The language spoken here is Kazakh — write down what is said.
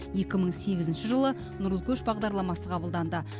екі мың сегізінші жылы нұрлы көш бағдарламасы қабылданды